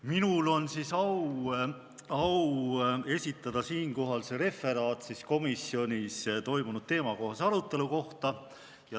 Minul on au esitada referaat komisjonis toimunud teemakohase arutelu kohta.